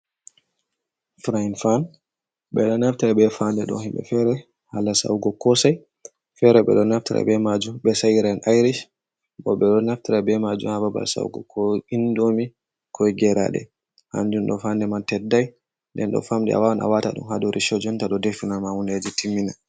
Frayin fan, ɓe ɗo naftira be faande ɗo, himɓe fere haala sa'ugo koosai, fere ɓe ɗo naftira be maajum ɓe sa'iran aairish, bo ɓe ɗo naftira be maajum ha babal sa'ugo, ko indomi, ko geeraaɗe. Hanjum ɗo faande man teddai, nden ɗo famɗi, a waawan a waata ɗum ha dow recho, jonta ɗo defina ma hundeji timmina.